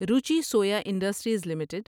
Ruchi Soya industries limited